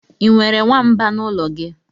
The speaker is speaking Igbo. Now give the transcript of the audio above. I nwere nwamba n'ụlọ gị?